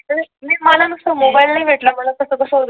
नाही तर मला नुसत्ता मोबाईल नाही भेटला मग तसं कसं होतं